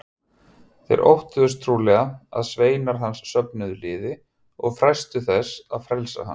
Þeir óttuðust trúlega að sveinar hans söfnuðu liði og freistuðu þess að frelsa hann.